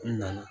N nana